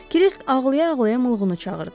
Krisq ağlaya-ağlaya mulğunu çağırdı.